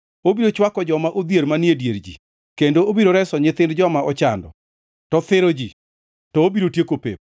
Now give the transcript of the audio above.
Obiro chwako joma odhier manie dier ji kendo obiro reso nyithind joma ochando; to thiro ji, to obiro tieko pep.